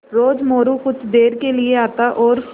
रोज़ मोरू कुछ देर के लिये आता और